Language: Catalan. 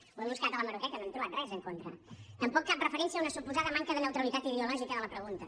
ho he buscat a l’hemeroteca no hi hem trobat res en contra tampoc cap referència a una suposada manca de neutralitat ideològica de la pregunta